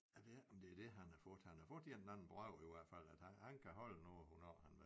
Jeg ved ikke om det er det han har fået han har fået en eller anden brev i hvert fald at han kan holde nu hvornår han vil